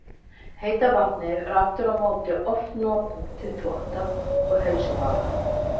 Heita vatnið var aftur á móti oft notað til þvotta og heilsubaða.